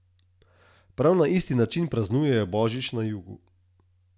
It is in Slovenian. Mimogrede, gre za gregorijanskega in butanskega, ki se ravna po luni.